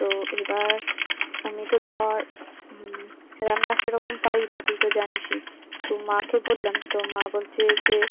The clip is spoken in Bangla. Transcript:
তো এবার, আমি তো ধর, উম রান্না সেরকম পারিনা তুই তো জানিস ই, তো মাকে বললাম, তো মা বলছে যে।